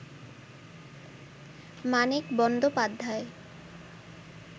Manik Bandyopadhyay